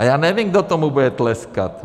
A já nevím, kdo tomu bude tleskat.